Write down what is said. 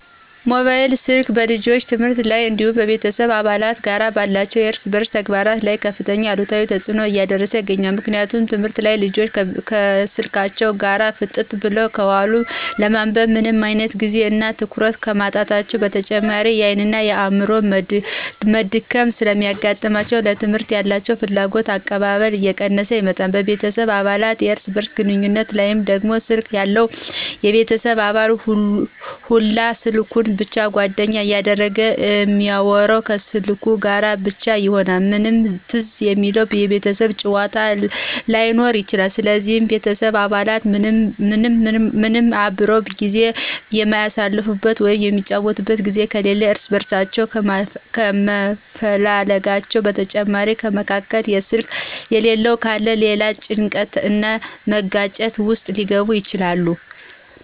ሞባይል ስልክ በልጆች ትምህርት ላይ እንዲሁም በቤተሰብ አባላት ጋር ባላቸው የእርስ በእርስ ተግባቦት ላይ ከፍተኛ አሉታዊ ተጽዕኖ እያሳደረ ይገኛል። ምክንያቱም ትምህርት ላይ ልጆች ከስልካቸው ጋር ፍጥጥ ብለው ከዋሉ ለማንበብ ምንም አይነት ጊዜ እና ትኩረት ከማጣታቸው በተጨማሪ የአይን እና የአዕምሮ መድከም ስለሚገጥማቸው ለትምህርት ያላቸው ፍላጎትና አቀባበል እየቀነሰ ይመጣል፤ በቤተሰብ አባላት የእርስ በእርስ ግንኙነት ላይ ደግሞ ስልክ ያለው የቤተሰብ አባል ሁላ ስልኩን ብቻ ጓደኛ ያደርጋል እሚአወራው ከስልኩ ጋር ብቻ ይሆናል ምንም ትዝ የሚለው የቤተሰብ ጫዎታ ላይኖር ይችላል ስለዚህ የቤተሰቡ አባላት ምንም አብረው ጊዜ የሚአሳልፉበት ወይም የሚጫወቱበት ጊዜ ከሌለ እርስ በእርሳቸው ካለመፈላለጋቸው በተጨማሪ ከመካከል ስልክ የሌለው ካለ ለሌላ ጭንቀት እና መጋጨት ውስጥ ሊገቡ ይችላሉ።